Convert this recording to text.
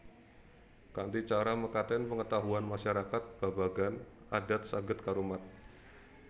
Kanthi cara mekaten pengetahuan masyarakat babagan adat saged karumat